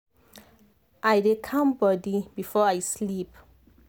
i dey calm body before i sleep.